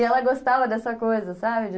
E ela gostava dessa coisa, sabe? De